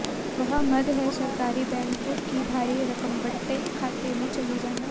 वह मद है सरकारी बैंकों की भारी रकम बट्टे खाते में चली जाना